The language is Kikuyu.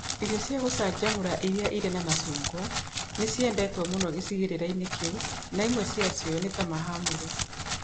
Irio cia gũcanjamũra iria irĩ na macungwa nĩ ciendetwo mũno gĩcigĩrĩra-inĩ kĩu, na imwe ciacio nĩ ta mahamri.